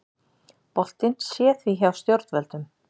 Boltinn sé því hjá stjórnvöldum